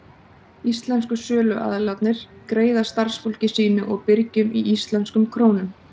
Íslensku söluaðilarnir greiða starfsfólki sínu og birgjum í íslenskum krónum.